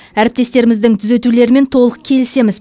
әріптестеріміздің түзетулерімен толық келісеміз